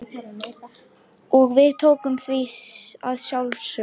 Og við tókum því að sjálfsögðu.